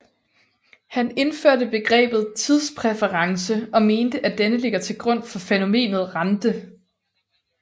Han indførte begrebet tidspræference og mente at denne ligger til grund for fænomenet rente